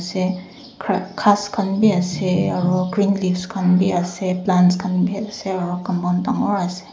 se gra ghas khan be ase aro green leaves khan be ase plants khan be ase aru compound dangor ase.